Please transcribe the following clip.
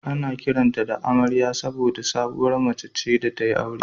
Ana kiranta da "Amariya" saboda sabuwar mace ce da ta yi aure